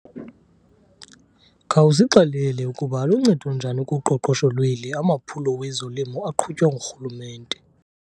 Khawusixelele ukuba aluncedo njani kuqoqosho lweli amaphulo wezolimo aqhutywa nguRhulumente.